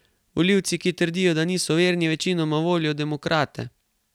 Volivci, ki trdijo, da niso verni, večinoma volijo demokrate.